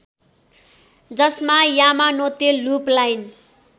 जसमा Yamanote loop line